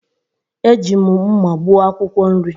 Eji m mma gbuo akwụkwọ nri.